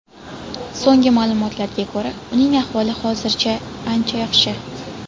So‘nggi ma’lumotlarga ko‘ra, uning ahvoli hozirda ancha yaxshi.